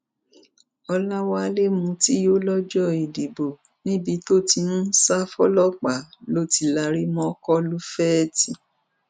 ọlọwálé mutí yó lọjọ ìdìbò níbi tó ti ń sá fọlọpàá ló ti lari mọ kọlufèétì